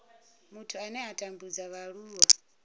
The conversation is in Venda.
muthu ane a tambudza vhaaluwa